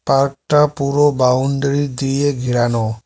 Park -টা পুরো boundary দিয়ে ঘেরানো।